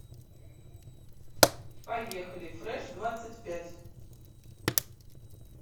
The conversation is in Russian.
поехали фреш двадцать пять